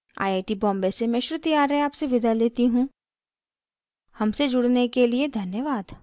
I I T Bombay से मैं श्रुति आर्य आपसे विदा लेती हूँ हमसे जुड़ने के लिए धन्यवाद